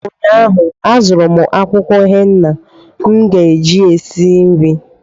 ụnyaahụ, azụrụ m akwụkwọ henna m ga-eji si nri